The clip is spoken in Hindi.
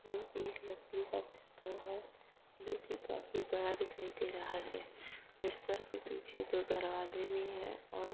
यह एक लकड़ी का बिस्तर है। जो की काफी बड़ा दिखाई दे रहा है बिस्तर के पीछे दो दरवाजे भी हैं और --